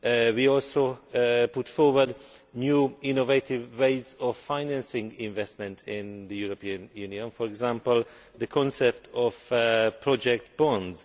We have also put forward new innovative ways of financing investment in the European Union, for example the concept of project bonds.